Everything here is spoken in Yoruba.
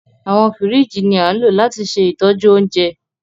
Awọn fírìjí ni a ńlo lati se itoju ounje